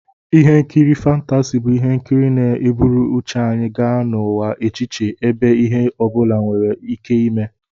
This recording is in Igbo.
Ihe nkiri fántási bụ ihe nkiri na-eburu uche anyị gaa n'ụwa echiche, ebe ihe obula were Ike ime